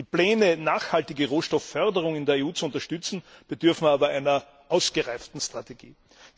Die Pläne, nachhaltige Rohstoffförderungen in der EU zu unterstützen, bedürfen aber einer ausgereiften Strategie.